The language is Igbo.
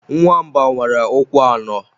Nwa mba nwere ụkwụ anọ